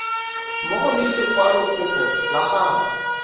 mmogo le lekwalokopo la gago